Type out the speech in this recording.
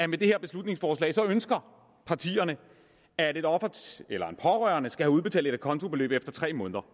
med det her beslutningsforslag ønsker at et offer eller en pårørende skal have udbetalt et acontobeløb efter tre måneder